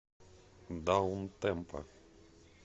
даунтемпо